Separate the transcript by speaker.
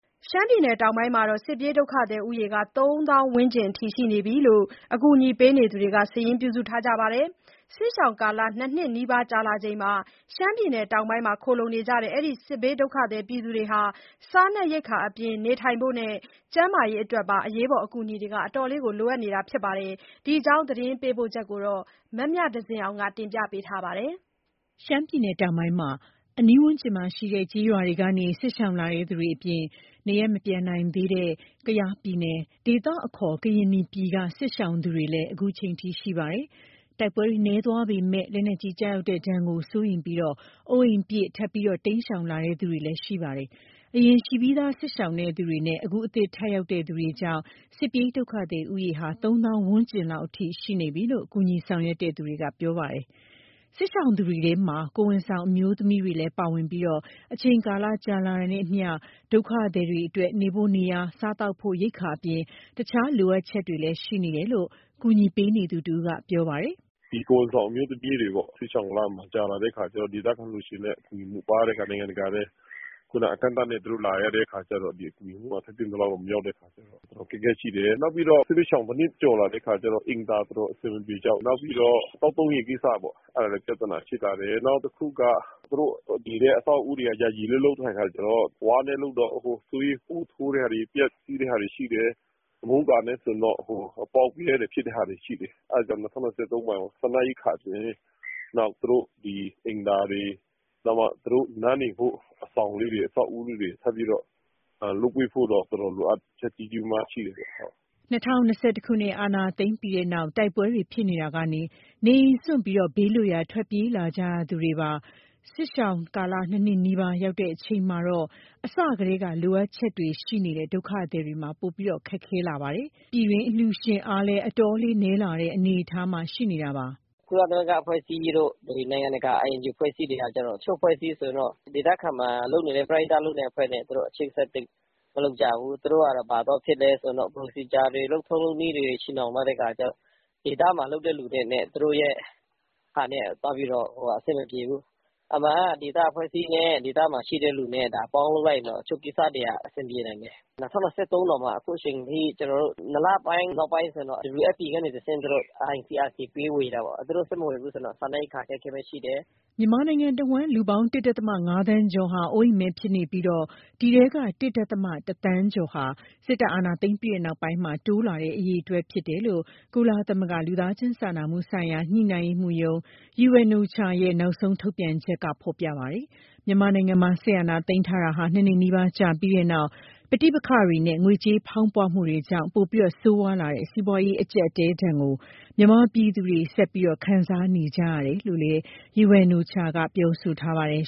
Speaker 1: ရှမ်းပြည်နယ်တောင်ပိုင်းမှာ စစ်ပြေးဒုက္ခသည်ဦးရေဟာ ၃ သောင်းဝန်းကျင် ရှိနေတယ်လို့ အကူအညီပေးနေသူတွေက စာရင်းပြုစုထားကြပါတယ်။ စစ်ရှောင်ကာလ ၂ နှစ်နီးပါး ကြာလာချိန်မှာ ရှမ်းပြည်နယ်တောင်ပိုင်းမှာ ခိုလှုံနေကြတဲ့ အဲဒီ့ စစ်ဘေးဒုက္ခသည်တွေဟာ စားနပ်ရိက္ခာအပြင် နေထိုင်ဖို့နဲ့ ကျန်းမာရေးအတွက်ပါ အကူအညီတွေ အတော်လေး လိုအပ်နေတာပါ။ ဒီအကြောင်း သတင်းပေးပို့ချက်ကို မမြသဇင်အောင်က တင်ပြပေးထားပါတယ်။ ရှမ
Speaker 2: ်းပြည်နယ်တောင်ပိုင်းမှာ အနီးဝန်းကျင်မှာရှိတဲ့ ကျေးရွာတွေကနေ စစ်ရှောင်လာသူတွေအပြင် နေရပ်မပြန်နိုင်သေးတဲ့ ကယားပြည်နယ် ဒေသအခေါ် ကရင်နီပြည်က စစ်ရှောင်သူတွေလည်း အခုချိန်ထိ ရှိနေကြပါတယ်။ တိုက်ပွဲတွေနည်းသွားပေမယ့် လက်နက်ကြီးကျရောက်မှုဒဏ်ကို စိုးရိမ်ပြီး အိုးအိမ်ပစ် ထပ်မံတိမ်းရှောင်လာသူတွေလည်း ရှိပါတယ်။ အရင် ရှိပြီးသားစစ်ရှောင်သူနဲ့ အခုအသစ် ထပ်ရောက်လာသူတွေကြောင့် စစ်ပြေးဒုက္ခသည်ဦးရေဟာ ၃ သောင်းဝန်းကျင်လောက်အထိ ရှိနေပြီလို့ ကူညီဆောင်ရွက်သူတွေက ပြောပါတယ်။ စစ်ရှောင်သူတွေထဲမှာ ကိုယ်ဝန်ဆောင် အမျိုးသမီးတွေလည်း ပါဝင်နေပြီး အချိန်ကာလကြာမြင့်လာတာနဲ့အမျှ ဒုက္ခသည်တွေအတွက် နေဖို့နေရာ၊ စားသောက်ဖို့ ရိက္ခာအပြင် တခြား လိုအပ်ချက်တွေလည်း ရှိနေတယ်လို့ ကူညီပေးနေသူတဦးက ပြောပါတယ်
Speaker 3: ။ "ကိုယ်ဝန်ဆောင် အမျိုးသမီးတွေ စစ်ရှောင်ကာလ ကြာလာတဲ့အခါကျတော့ ဒေသခံအလှူရှင်လည်း ပါးတဲ့အခါ၊ နိုင်ငံတကာလည်း အကန့်အသတ်နဲ့ လာရတဲ့အခါကျတော့ ထိုက်သင့်သလောက် မရောက်တဲ့အခါ အခက်အခဲရှိတယ်။ နောက်ပြီးတော့ စစ်ဘေးရှောင် ၁ နှစ်ကျော်လာတဲ့အခါ အိမ်သာတော်တော် အဆင်မပြေကြဘူး။ သောက်သုံးရေကိစ္စလည်း တော်တော်အဆင်မပြေ ဖြစ်လာတယ်။ နောက်တခုက သူတို့နေထိုင်တဲ့ အဆောက်အဦးတွေက ယာယီပဲလုပ်ထားတဲ့ အခါကျတော့ ဝါးနဲ့လုပ်တော့ အကုန်ဆွေးပြီး ပိုးထိုးတာတွေ၊ ပျက်စီးတာတွေ ရှိတယ်။ မိုးကာတွေဆိုရင်လည်း အပေါက်အပြဲတွေ ရှိတဲ့ဟာရှိတယ်။ အဲဒါကြောင့် ၂၀၂၃ မှာ စားနပ်ရိက္ခာအပြင် သူတို့အတွက် အိမ်သာတွေ၊ သူတို့နားနေဖို့ အဆောင်တွေ၊ အဆောက်အဦးလေးတွေ ထပ်ပြီးတော့ လုပ်ပေးဖို့တော့ လိုအပ်ချက်တော်တော် ကြီးကြီးမားမားရှိတယ်ဗျ။"
Speaker 2: ၂၀၂၁ အာဏာသိမ်းမှုပြီးတဲ့နောက် တိုက်ပွဲတွေဖြစ်ရာကနေ နေအိမ်စွန့်ပြီး ဘေးလွတ်ရာဆီ ထွက်ပြေးလာကြ ရသူတွေပါ။ စစ်ရှောင်ကာလ ၂ နှစ်နီးပါး ရောက်လာချိန်မှာတော့ အစကတည်းက လိုအပ်ချက်တွေ ရှိနေတဲ့ ဒုက္ခသည်တွေမှာ ပိုပြီးခက်ခဲလာပါတယ်။ ပြည်တွင်းအလှူရှင်အားလည်း အတော်လည်း နည်းလာတဲ့ အနေအထားပါ။ "
Speaker 4: ကုလသမဂ္ဂ အဖွဲ့အစည်းတို့၊ နိုင်ငံတကာ INGO အဖွဲ့အစည်းတွေက တချို့အဖွဲ့အစည်းတွေ ဆိုရင်တော့ ဒေသတွင်းမှာ ပရဟိတလုပ်နေတဲ့ အဖွဲ့တွေနဲ့ အချိတ်အဆက် သိပ်မလုပ်ကြဘူး။ သူတို့က ဘာသွားဖြစ်လဲဆိုတော့ Procedure တွေ၊ လုပ်ထုံးလုပ်နည်းတွေ ချည်နှောင်ထားတဲ့ အခါကျတော့ ဒေသမှာလုပ်တဲ့ လူတွေနဲ့ သူတို့ရဲ့ဟာနဲ့က သွားပြီးတော့ အဆင်မပြေဘူး။ အမှန်က ဒေသအဖွဲ့အစည်းနဲ့ ဒေသမှာရှိတဲ့သူနဲ့ ပေါင်းလုပ်လိုက်ရင်တော့ တချို့ကိစ္စတွေက အဆင်ပြေနိုင်တယ်။ ၂၀၂၃ တောင်မှ အခုချိန်ထိ ၂ လပိုင်း နောက်ပိုင်းဆိုရင်တော့ WFP ကနေတဆင့် သူတို့ ICRC ပေးဝေတာပေါ့။ သူတို့ဆက် မဝေဘူးဆိုရင်တော့ စားနပ်ရိက္ခာ အခက်အခဲရှိတယ်။
Speaker 2: " မြန်မာနိုင်ငံတဝှမ်း လူပေါင်း ၁.၅ သန်းကျော်ဟာ အိုးအိမ်မဲ့ဖြစ်နေပြီး၊ အဲဒီထဲက ၁.၁ သန်းကျော်ဟာ စစ်တပ်အာဏာသိမ်းပြီး နောက်ပိုင်းတိုးလာတဲ့ အရေအတွက်ဖြစ်တယ်လို့ ကုလသမဂ္ဂ လူသားချင်းစာနာမှုဆိုင်ရာ ညှိနှိုင်းရေးမှူးရုံး UNOCHA ရဲ့ နောက်ဆုံးထုတ်ပြန်ချက်မှာ ဖော်ပြထားပါတယ်။ မြန်မာနိုင်ငံမှာ စစ်အာဏာသိမ်းထားတာ ၂ နှစ်နီးပါး ကြာပြီးတဲ့နောက် ပဋိပက္ခတွေနဲ့ ငွေကြေးဖောင်းပွတာတွေကြောင့် ပိုဆိုးရွားလာတဲ့ စီးပွားရေး အကျပ်အတည်းဒဏ်ကို မြန်မာပြည်သူတွေ ဆက်လက်ခံစား နေကြရတယ်လို့လည်း UNOCHA က ပြောထားပါတယ်